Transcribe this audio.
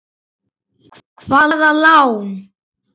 Hvaða lán?